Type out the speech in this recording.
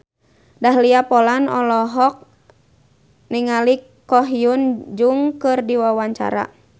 Dahlia Poland olohok ningali Ko Hyun Jung keur diwawancara